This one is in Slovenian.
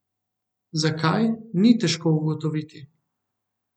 Zakaj, ni težko ugotoviti.